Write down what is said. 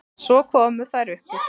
Svo komu þær upp úr.